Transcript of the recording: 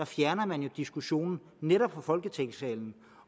fjerne diskussionen netop fra folketingssalen